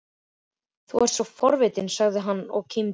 Þú ert svo forvitinn sagði hann og kímdi.